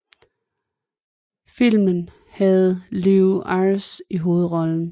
Filmen havde Lew Ayres i hovedrollen